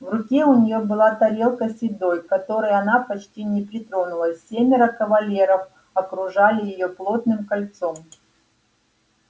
в руке у неё была тарелка с едой к которой она почти не притронулась семеро кавалеров окружали её плотным кольцом